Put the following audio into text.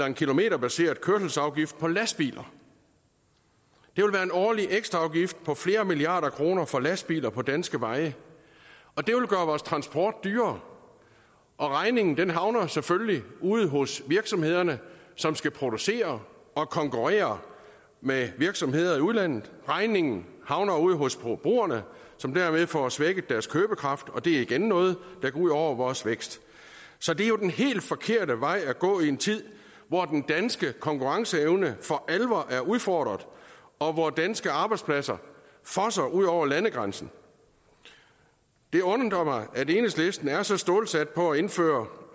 en kilometerbaseret kørselsafgift på lastbiler det vil være en årlig ekstra afgift på flere milliarder kroner for lastbiler på danske veje og det vil gøre vores transport dyrere regningen havner selvfølgelig ude hos virksomhederne som skal producere og konkurrere med virksomheder i udlandet regningen havner ude hos forbrugerne som dermed får svækket deres købekraft og det er igen noget der går ud over vores vækst så det er jo den helt forkerte vej at gå i en tid hvor den danske konkurrenceevne for alvor er udfordret og hvor danske arbejdspladser fosser ud over landegrænsen det undrer mig at enhedslisten er så stålsat på at indføre